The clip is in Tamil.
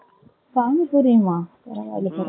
பானிபூரியுமா